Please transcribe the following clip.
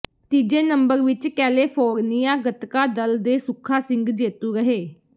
ਤੀਜੇ ਨੰਬਰ ਵਿਚ ਕੈਲੇਫ਼ੋਰਨੀਆ ਗਤਕਾ ਦਲ ਦੇ ਸੁਖਾ ਸਿੰਘ ਜੇਤੂ ਰਹੇ